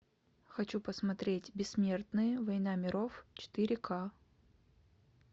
хочу посмотреть бессмертные война миров четыре ка